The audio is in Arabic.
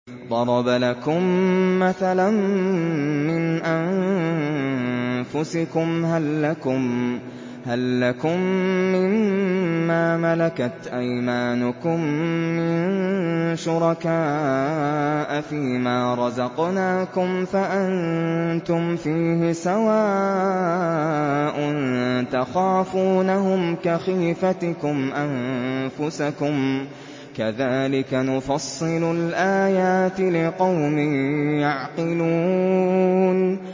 ضَرَبَ لَكُم مَّثَلًا مِّنْ أَنفُسِكُمْ ۖ هَل لَّكُم مِّن مَّا مَلَكَتْ أَيْمَانُكُم مِّن شُرَكَاءَ فِي مَا رَزَقْنَاكُمْ فَأَنتُمْ فِيهِ سَوَاءٌ تَخَافُونَهُمْ كَخِيفَتِكُمْ أَنفُسَكُمْ ۚ كَذَٰلِكَ نُفَصِّلُ الْآيَاتِ لِقَوْمٍ يَعْقِلُونَ